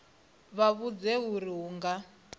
vha vhudze uri hu nga